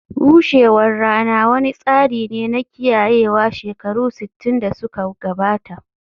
bushewar rana wani tsari ne na kiyayewa shekaru sittin da suka gabata